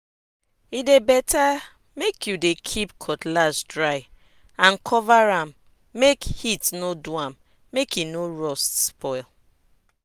e dey better make you dey keep cutlass dry and cover am make heat no do am make e no rust spoil.